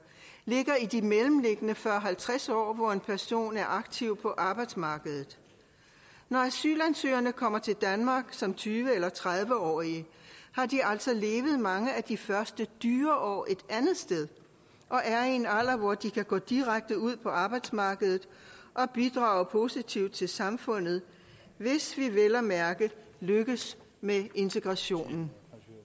ligger i de mellemliggende fyrre til halvtreds år hvor en person er aktiv på arbejdsmarkedet når asylansøgerne kommer til danmark som tyve eller tredive årige har de altså levet mange af de første dyre år et andet sted og er i en alder hvor de kan gå direkte ud på arbejdsmarkedet og bidrage positivt til samfundet hvis vi vel at mærke lykkes med integrationen